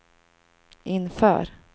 inför